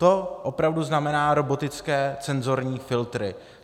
To opravdu znamená robotické cenzorní filtry.